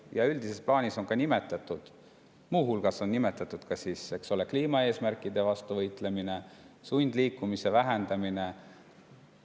Ja üldises plaanis on muu hulgas nimetatud kliimaeesmärkide nimel võitlemist ja sundliikumise vähendamist.